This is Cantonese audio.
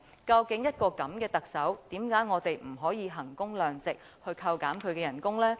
究竟一個這樣的特首，為何我們不可以衡工量值，扣減他的薪酬呢？